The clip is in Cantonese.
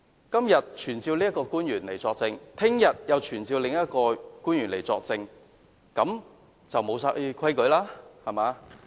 今天要求傳召一位官員來作證，明天又要求傳召另一位官員來作證，那還有何規矩可言？